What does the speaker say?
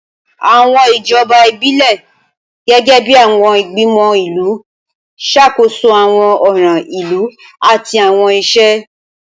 Awọn ijọba ibilẹ, gẹgẹbi awọn igbimọ ilu, ṣakoso awọn ọran ilu ati awọn iṣẹ.